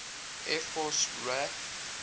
air force raaf